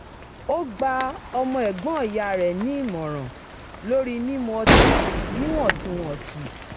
ó gba ọmọ ẹ̀gbọ́n ìyá rẹ̀ nì ìmọ̀ràn lórí mímu ọtí níwò̩n-tún-wò̩n sì